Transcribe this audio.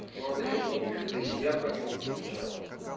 ну а насчёт вонючка ты себя понюхай сначала